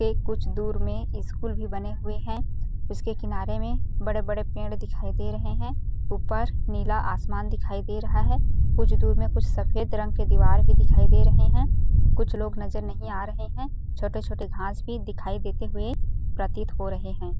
के कुछ दूर में स्कूल भी बने हुए हैं उसके किनारे में बड़े-बड़े पेड़ दिखाई दे रहें हैं ऊपर नीला आसमान भी दिखाई दे रहा है कुछ दूर मैं सफ़ेद रंग के दीवार भी दिखाई दे रहें हैं कुछ लोग नज़र नहीं आ रहें हैं छोटे-छोटे घास भी दिखाई देते हुवे प्रतिक हो रहें है।